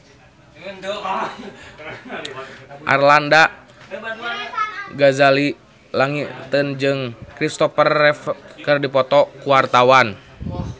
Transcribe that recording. Arlanda Ghazali Langitan jeung Kristopher Reeve keur dipoto ku wartawan